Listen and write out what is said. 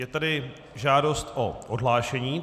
Je tady žádost o odhlášení.